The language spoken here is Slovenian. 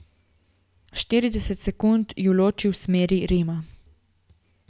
Štirideset sekund ju loči v smeri Rima.